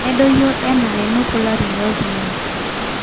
nedoyio enaa enepona ilarin loltung'ani